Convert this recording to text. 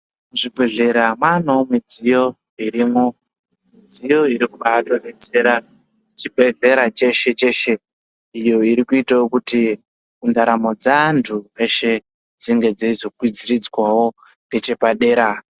Zvibhedhlera maaneo midziyo irimwo midziyo inobayaatodetsera chibhedhlera cheshe cheshe iyo irikuitawo kuti ndaramo dzeantu eshe dzinge dzeizokwidziridzwawo ngechepadera.